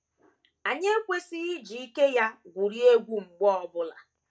Anyị ekwesịghị iji ike ya gwurie egwu mgbe ọ bụla.